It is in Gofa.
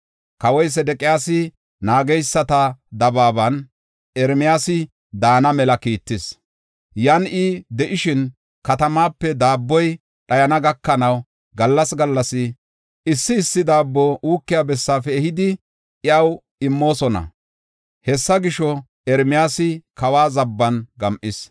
Kawoy Sedeqiyaasi naageysata dabaaban Ermiyaasa daana mela kiittis. Yan I de7ishin katamape daabboy dhayana gakanaw gallas gallas issi issi daabbo uukiya bessaafe ehidi iyaw immoosona. Hessa gisho, Ermiyaasa kawa zaban gam7is.